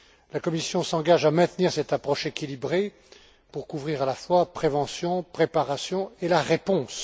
La Commission s'engage à maintenir cette approche équilibrée pour couvrir à la fois la prévention, la préparation, et la réponse.